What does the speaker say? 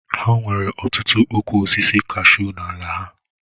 Ha nwere ọtụtụ ụkwụ osisi kashuu n'ala ha